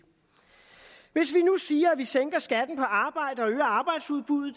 hvis vi nu siger at vi sænker skatten på arbejde og øger arbejdsudbuddet